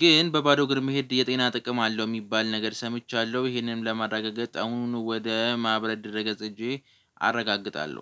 ግን በባዶ ግርም መሄድ የጤና ጥቅም አለው የሚባል ነገር ሰምቻለሁ ይህንንም ለማረጋገጥ አሁን ወደ ማብረድ ደረገ ጽጄ አረጋግጣለሁ